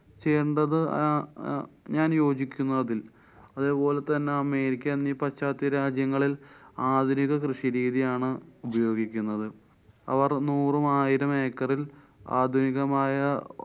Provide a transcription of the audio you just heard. ചെയ്യേണ്ടത് അഹ് ആ ഞാന്‍ യോജിക്കുന്നു അതില്‍. അതേപോലെതന്നെ അമേരിക്ക എന്നീ പശ്ച്യാത്ത രാജ്യങ്ങളില്‍ ആധുനിക കൃഷിരീതിയാണ് ഉപയോഗിക്കുന്നത്. അവര്‍ നൂറും ആയിരം acre ല്‍ ആധുനികമായ